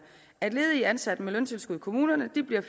at ledige ansatte med løntilskud i kommunerne